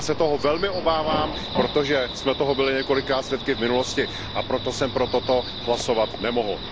Já se toho velmi obávám, protože jsme toho byli několikrát svědky v minulosti, a proto jsem pro toto usnesení hlasovat nemohl.